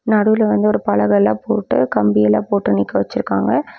நடுவுல வந்து ஒரு பலகைலா போட்டு கம்பியெல்லாம் போட்டு நிக்க வச்சுருக்காங்க.